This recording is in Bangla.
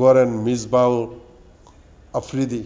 গড়েন মিসবাহ-আফ্রিদি।